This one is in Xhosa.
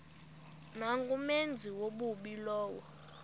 nangumenzi wobubi lowo